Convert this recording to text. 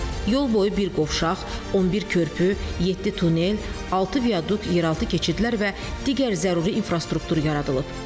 Yol boyu bir qovşaq, 11 körpü, 7 tunel, 6 viaduk yer altı keçidlər və digər zəruri infrastruktur yaradılıb.